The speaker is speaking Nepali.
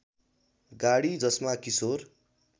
गाडी जसमा किशोर